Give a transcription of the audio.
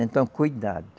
Então, cuidado.